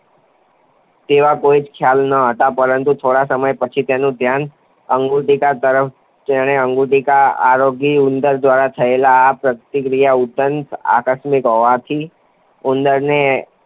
તેવો કોઈ જ ખ્યાલ નહોતો. પરંતુ થોડા સમય પછી તેનું ધ્યાન અન્નગુટિકા તરફ જતાં તેણે અન્નગુટિકા આરોગી. ઉંદર દ્વારા થયેલ આ પ્રતિક્રિયા તદન આકસ્મિક હોવાથી ઉંદરને